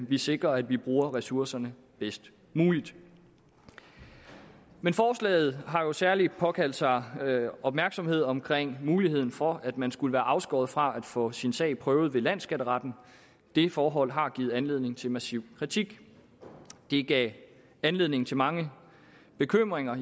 vi sikrer at vi bruger ressourcerne bedst muligt men forslaget har jo særlig påkaldt sig opmærksomhed omkring muligheden for at man skulle være afskåret fra at få sin sag prøvet ved landsskatteretten det forhold har givet anledning til massiv kritik det gav anledning til mange bekymringer